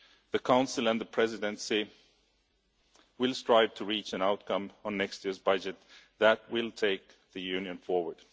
the Council and the Presidency will strive to reach an outcome on next year's budget that will take the Union forward.